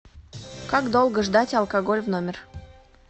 как долго ждать алкоголь в номер